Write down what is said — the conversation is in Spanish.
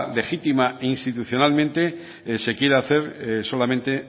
legítima e institucionalmente se quiera hacer solamente